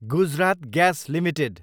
Gujarat gas Ltd